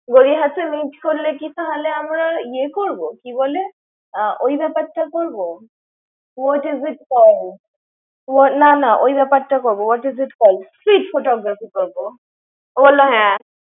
গড়িয়াহাটে meet করলে কী তাহলে আমরা ইয়ে করবো, কী বলে ওই ব্যাপার টা করবো? what is it call? না না ওই ব্যাপার টা করবো। what is it call? street photography করবো। ও বলল হ্যাঁ।